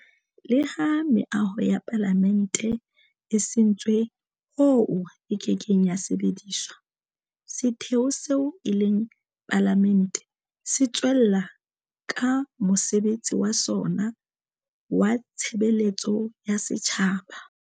Leha meaho ya Palamente e sentswe hoo e kekeng ya sebediswa, setheo seo e leng Palamente se tswella ka mosebetsi wa sona wa tshebeletso ya setjhaba.